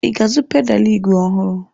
I ga-azụ pedalụ ígwè ọhụrụ?